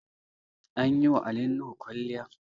An yi wa Ali Nuhu kwalliya